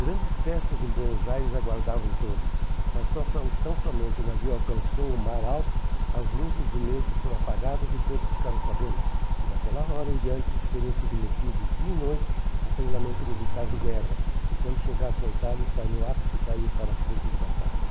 Grandes festas em Buenos Aires aguardavam todos, mas tão tão somente o navio alcançou o mar alto, as luzes do mesmo foram apagadas e todos ficaram sabendo que daquela hora em diante seriam submetidos dia e noite a treinamento militar de guerra e quando chegassem à Itália estariam aptos a ir para a frente de batalha.